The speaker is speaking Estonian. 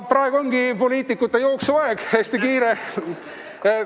Praegu ongi poliitikute jooksuaeg, hästi kiire on.